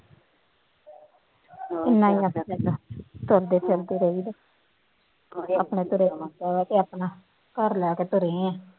ਇੰਨਾ ਹੀ ਹੋ ਜਾਇਆ ਕਰਦਾ, ਤੁਰਦੇ ਫਿਰਦੇ ਰਹੀ ਦਾ, ਆਪਣੇ ਘਰੇ ਅਤੇ ਆਪਣਾ ਘਰ ਲੈ ਕੇ ਤੁਰੇ ਹਾਂ